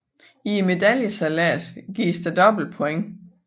I medaljesejladsen gives der dobbelt points